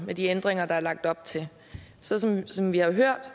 med de ændringer der er lagt op til sådan som vi har hørt